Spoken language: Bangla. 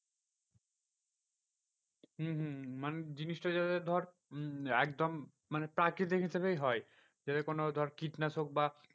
হম হম হম মানে জিনিসটা যাতে ধর একদম মানে প্রাকৃতিক হিসেবেই হয়। ধর কোনো কীটনাশক বা